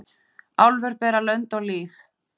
Álfur bera lönd og lýð.